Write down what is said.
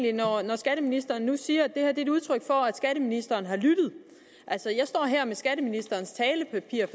skatteministeren nu siger at det her er udtryk for at skatteministeren har lyttet altså jeg står her med skatteministerens talepapir